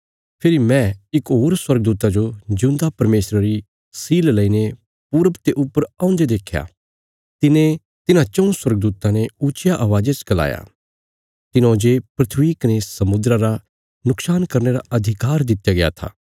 फेरी मैं इक होर स्वर्गदूता जो जिऊंदा परमेशरा री सील लेईने पूरब ते ऊपर औन्दे देख्या तिने तिन्हां चऊँ स्वर्गदूतां ने ऊच्चिया अवाज़ा च गलाया तिन्हौं जे धरती कने समुद्रा रा नुक्शान करने रा अधिकार दित्या गया था